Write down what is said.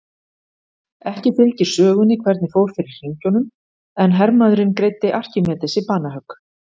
ekki fylgir sögunni hvernig fór fyrir hringjunum en hermaðurinn greiddi arkímedesi banahögg